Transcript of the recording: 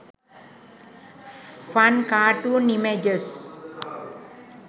fun cartoon images